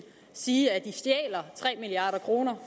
sige at stjæler tre milliard kroner